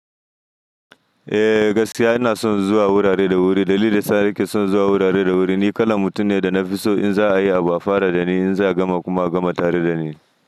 Eh gaskiya ina son zuwa wurare da wuri. Dalilin sa ni ke son zuwa wurare da wuri ni kalan mutum ne da na fi so in za a yi abu a fara da ni in za a gama kuma gama tare da ni.